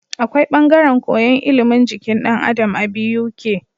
Akwai bangaren koyan ilimin jikin dan Adam a Buk